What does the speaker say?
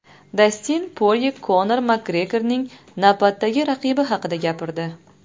Dastin Porye Konor Makgregorning navbatdagi raqibi haqida gapirdi.